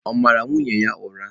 Ọ̀ mara nwunye ya ụra?